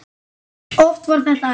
Oft var þetta erfitt.